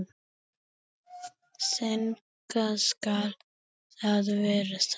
Þannig skal það verða.